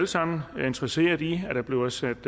sammen er interesserede i at der bliver sat